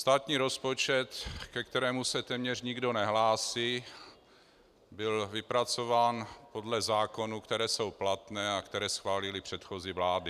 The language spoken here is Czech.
Státní rozpočet, ke kterému se téměř nikdo nehlásí, byl vypracován podle zákonů, které jsou platné a které schválily předchozí vlády.